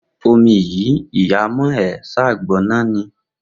Omi yi iya'a mon e e san gb'onane.